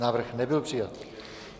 Návrh nebyl přijat.